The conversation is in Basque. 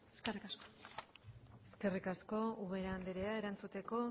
eskerrik asko eskerrik asko ubera andrea erantzuteko